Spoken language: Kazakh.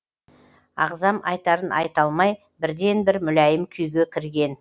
ағзам айтарын айта салмай бірден бір мүләйім күйге кірген